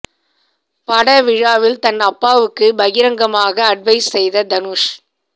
பட விழாவில் தன் அப்பாவுக்கு பகிரங்கமாக அட்வைஸ் செய்த தனுஷ்